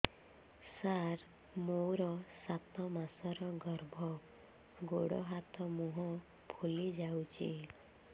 ସାର ମୋର ସାତ ମାସର ଗର୍ଭ ଗୋଡ଼ ହାତ ମୁହଁ ଫୁଲି ଯାଉଛି